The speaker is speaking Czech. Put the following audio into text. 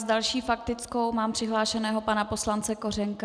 S další faktickou mám přihlášeného pana poslance Kořenka.